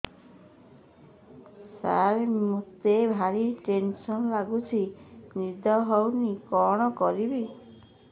ସାର ମତେ ଭାରି ଟେନ୍ସନ୍ ଲାଗୁଚି ନିଦ ହଉନି କଣ କରିବି